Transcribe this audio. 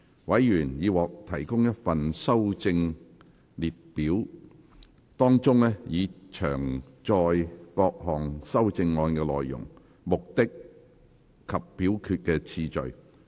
委員已獲提供一份修正案列表，當中已詳載各項修正案的內容、目的及表決次序。